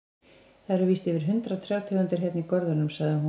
Það eru víst yfir hundrað trjátegundir hérna í görðunum, sagði hún.